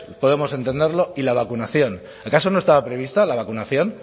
podemos entenderlo y la vacunación acaso no estaba prevista la vacunación